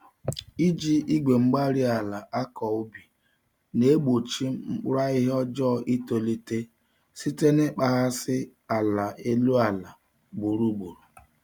Iji Igwe-mgbárí-ala nakọ ubi na-egbochi mkpụrụ ahihia ọjọọ itolite site na ịkpaghasị ala elu àlà ugboro ugboro